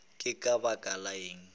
ke ka baka la eng